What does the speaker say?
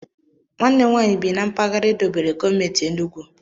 Nwannem nwaanyị bi na mpaghara edobere gọọmentị Enugu.